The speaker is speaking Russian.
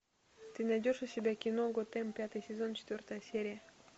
ты найдешь у себя кино готэм пятый сезон четвертая серия